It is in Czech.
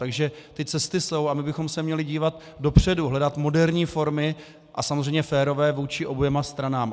Takže ty cesty jsou a my bychom se měli dívat dopředu, hledat moderní formy, a samozřejmě férové vůči oběma stranám.